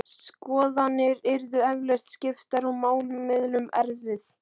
Skoðanir yrðu eflaust skiptar og málamiðlun erfið.